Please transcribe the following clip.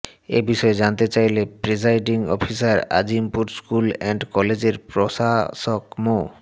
এ বিষয়ে জানতে চাইলে presiding officer Azimpur school and কলেজের প্রভাষক মো